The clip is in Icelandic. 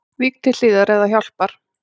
Vík til hliðar ef það hjálpar